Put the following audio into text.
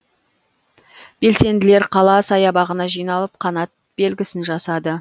белсенділер қала саябағына жиналып қанат белгісін жасады